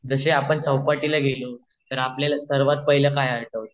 जशे आपण चवपाटीला गेलो तर आपल्याला सर्वात पहिला काय आठवत